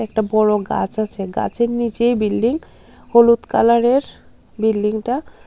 একটা বড় গাছ আছে গাছের নীচেই বিল্ডিং হলুদ কালার -এর বিল্ডিং -টা।